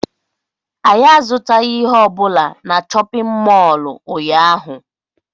Anyị azụtaghị ihe ọ bụla na chọpịn mọọlụ ụnyaahụ.